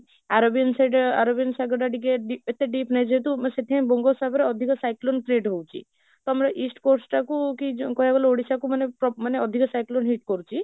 arabian side ଅ arabian ସାଗର ଟା ଟିକେ ଏତେ deep ନାହିଁ ଯେହେତୁ ସେଥିପାଇଁ ବଙ୍ଗ ସାଗର ଅଧିକ cyclone create ହଉଛି, ତ ଆମର east coast ଟାକୁ କି କହିଉବାକୁ ଗଲେ ଓଡ଼ିଶାକୁ ମାନେ ମାନେ ଅଧିକ cyclone hit କରୁଛି